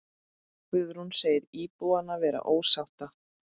Guðrún segir íbúana vera ósátta.